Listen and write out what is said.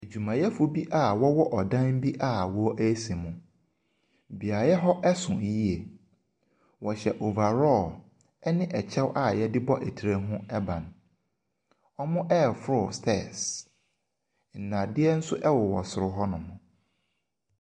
Adwumayɛfo bi a wɔwɔ dan bi wɔresi mu, beaeɛ hɔ so yie, wɔhyɛ overall ne kyɛw a yɛde tire ho ban. Wɔreforo stairs, nnadeɛ bi nso wowɔ soro hɔnom.